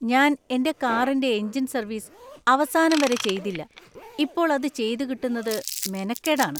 ഞാൻ എന്‍റെ കാറിന്‍റെ എഞ്ചിന്‍ സർവീസ് അവസാനം വരെ ചെയ്തില്ല, ഇപ്പോൾ അത് ചെയ്തുകിട്ടുന്നത് മെനക്കേടാണ്.